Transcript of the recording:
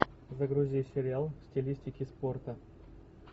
загрузи сериал в стилистике спорта